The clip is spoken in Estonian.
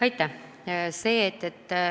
Aitäh!